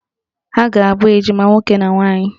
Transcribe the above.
Ha a ga-abụ ejima nwoke na nwaanyị?